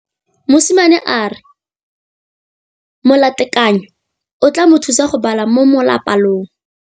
Mosimane a re molatekanyô o tla mo thusa go bala mo molapalong.